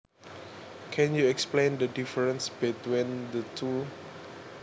Can you explain the difference between the two